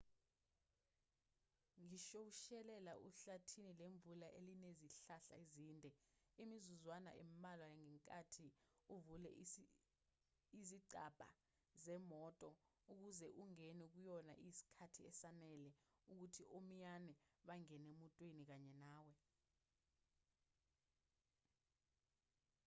ngishoushayela ehlathini lemvula elinezihlahla ezinde imizuzwana embalwa ngenkathi uvule izicabha zemoto ukuze ungene kuyona iyisikhathi esanele ukuthi omiyane bangene emotweni kanye nawe